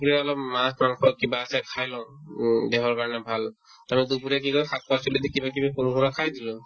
দূপৰীয়া অলপ মাচ হওক বা কিবা আছে খাই লও উম দেহৰ কাৰণে ভাল to দুপৰীয়া কি কৰো শাক-পাচলি দি কিবাকিবি বনোৱা খাই দিলো